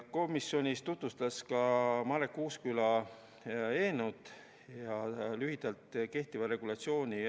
Komisjonis tutvustas Marek Uusküla eelnõu ja lühidalt ka kehtivat regulatsiooni.